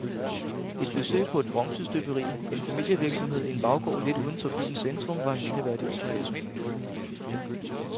Et besøg på et bronzestøberi, en familievirksomhed i en baggård lidt uden for byens centrum, var en mindeværdig oplevelse.